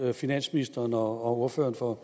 finansministeren og og ordføreren for